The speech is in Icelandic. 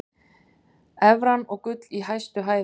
Evran og gull í hæstu hæðum